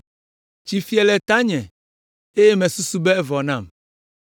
Tsi fie le tanye eye mesusu be evɔ nam.